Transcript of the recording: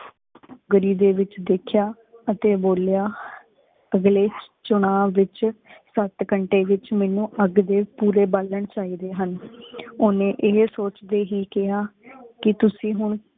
ਦੇ ਵੇਚ ਦੇਖਇਆ ਅਤੇ ਬੋਲਿਆ ਅਗਲੇ ਚੁਲਾਵ ਵਿਚ ਸਤ ਘੰਟੇ ਵਿਚ ਮੈਨੂੰ ਅਗ ਦੇ ਪੂਰੇ ਬਾਲਣ ਚਾਹੀਦੇ ਹਨ। ਓਹਨੇ ਏਹੀ ਸੋਚਦੇ ਹੀ ਕਿਹਾ ਕਿ ਤੁਸੀਂ ਹੁਣ